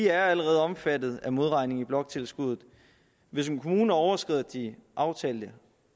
er allerede omfattet af modregning i bloktilskuddet hvis en kommune overskrider de aftalte